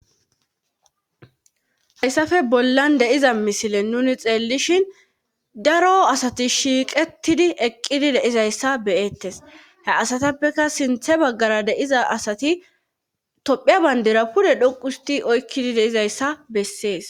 Haysape bollan de7iza misile nuuni xeellishin daro asati shiiqettidi eqqidi de7izayssa be7eettes ha asathapekka sinthe baggara de7iza asati toophphiya banddira pude dhoqushtti oykkidi de7izayssa bessees.